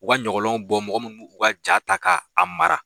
U ka ɲɔgɔlɔnw bɔ mɔgɔ min bɛ u ka ja ta k'a mara